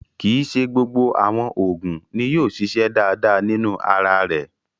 Kí ì ṣé gbogbo awọn oogun, ní yóò ṣiṣẹ̀ dáadáa nínu ara rè